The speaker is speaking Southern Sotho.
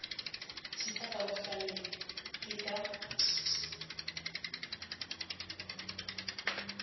thipa ka bohaleng ke ka